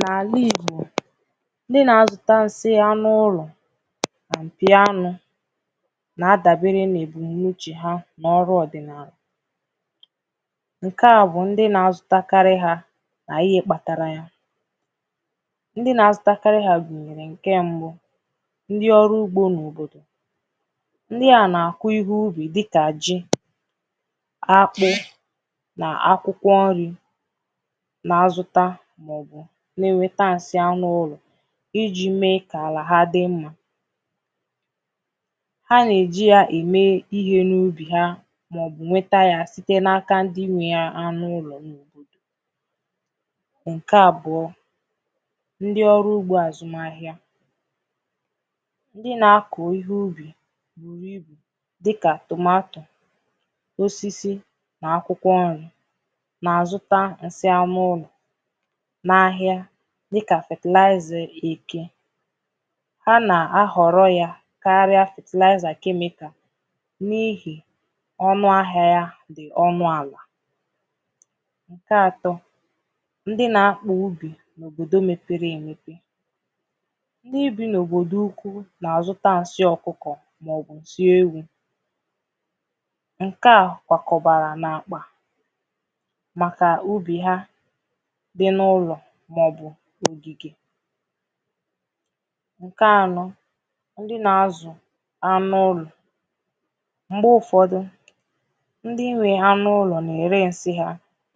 N’ala Igbò ndị na-azụtà nsị anụ̀ ụlọ̀ anụ mpì anụ na-adabere n’ebumunuche ha n’ọrụ̀ ọdịnaalà nke à bụ̀ ndị na-azụ takarị ha n’ihe kpatara yà ndị na-azụtakarị ha gunyere nke mbụ̀ ndị ọrụ̀ ugbò n’òbodò ndị à na-akụ̀ ihe ubì dịkà ji akpụ na akwụkwọ̀ nrì na-azụtà maọ̀bụ̀ na-enwetà nsị̀ anụ̀ ụlọ̀ iji mee ka alà ha dị mmà ha na-eji yà eme ihe n’ubì ha maọ̀bụ̀ nwetà yà sitēn’aka ndị nwe ya anụ̀ ụlọ unu nke abụọ̀ ndị ọrụ̀ ugbò azụmà ahịà ndị na-akọ̀ ihe ubì buru ibù dịkà tomato osisi n’akwụkwọ̀ nrì na-azụtà nsị̀ anụ ụlọ̀ n’ahịà dịkà fertilizer eke ha na-ahọrọ yà karịà sị fertilizer chemical n’ihi ọnụ̀ ahịà yà ọnụ alà nke atọ ndị na-akpụ ubì òbodò mepere emepè ndịbi n’òbodò ukwu na-azụtà nsị ọkụkọ̀ maọ̀bụ̀ dị ewu nke à kwakọbarà n’akpà makà ubì ha dị n’ụlọ̀ maọ̀bụ̀ ogigè bụ nke anọ̀ ndị na-azụ̀ anụ̀ ụlọ̀ m̄gbe ụfọdụ̀ ndị nwe ha n’ụlọ̀ na-ere nsị ha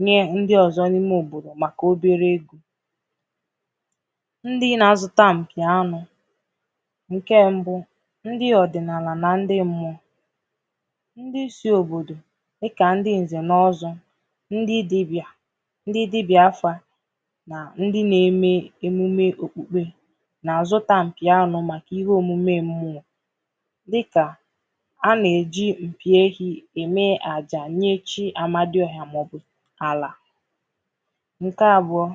nye ndị ọzọ̀ n’ime òbodò makà obere ndị na-azụtà mpì anụ̀ nke mbụ̀ ndị ọdịnaalà na ndị mmụọ ndị si òbodò dịkà ndị̀ nze na ọzọ ndị dibịà ndị dibịà afa na ndị na-eme emume okpukpe na-azụtà mpì anụ̀ makà ihe omume mmụọ dịkà a na-eji mpì ehi eme ajà nye chi amadịọhà maọ̀bụ̀ alà nke abụọ̀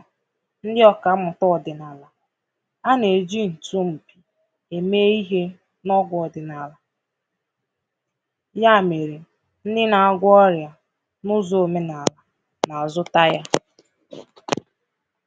ndị ọkammụtà ọdịnaalà a na-eji nchinù eme ihe n’ọgwū̀ ọdịnaalà ya merè ndị na-agwọ ọrịà n’ụzọ̀ omenaalà na-zụtà yà